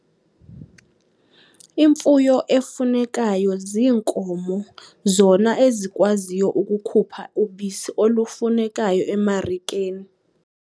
Imfuyo efunekayo ziinkomo zona ezikwaziyo ukukhupha ubisi olufunekayo emarikeni.